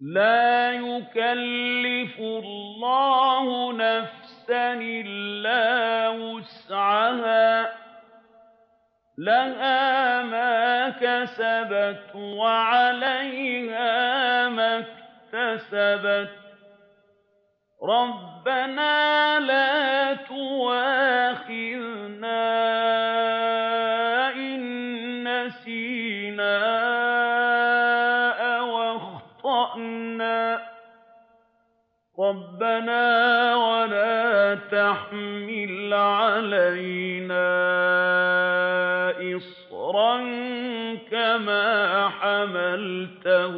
لَا يُكَلِّفُ اللَّهُ نَفْسًا إِلَّا وُسْعَهَا ۚ لَهَا مَا كَسَبَتْ وَعَلَيْهَا مَا اكْتَسَبَتْ ۗ رَبَّنَا لَا تُؤَاخِذْنَا إِن نَّسِينَا أَوْ أَخْطَأْنَا ۚ رَبَّنَا وَلَا تَحْمِلْ عَلَيْنَا إِصْرًا كَمَا حَمَلْتَهُ